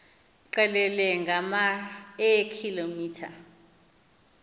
qelele ngama eekilometha